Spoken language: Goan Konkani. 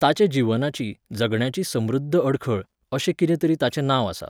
ताचे जीवनाची, जगण्याची समृध्द अडखळ, अशें कितें तरी ताचें नांव आसा